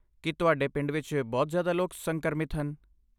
ਕੀ ਤੁਹਾਡੇ ਪਿੰਡ ਵਿੱਚ ਬਹੁਤ ਜ਼ਿਆਦਾ ਲੋਕ ਸੰਕਰਮਿਤ ਹਨ?